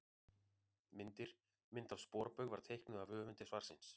Myndir: Mynd af sporbaug var teiknuð af höfundi svarsins.